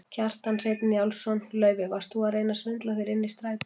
Kjartan Hreinn Njálsson: Laufey, varst þú að reyna að svindla þér inn í strætó?